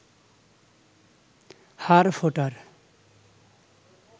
হাড় ফোটার